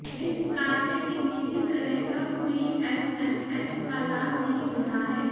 इस प्लान में किसी भी तरह का फ्री एसएमएस का लाभ नहीं मिलता है